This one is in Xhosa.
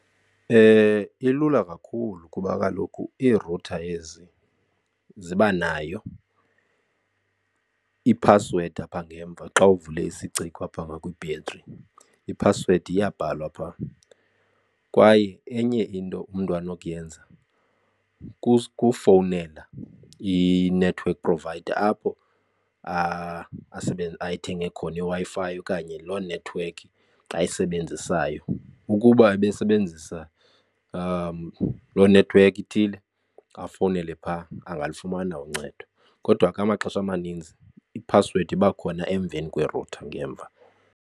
Ilula kakhulu kuba kaloku iirutha ezi zibanayo iphasiwedi apha ngemva xa uvule isiciko apha ngakwibhetri, iphasiwedi iyabhalwa phaa. Kwaye enye into umntu anokuyenza kufowunela i-network provider apho ayithenga khona iWi-Fi okanye loo network ayisebenzisayo. Ukuba ebesebenzisa lo nethiwekhi ithile afownele phaa angalufumana uncedo. Kodwa ke amaxesha amaninzi iphasiwedi iba khona emveni kwerutha ngemva.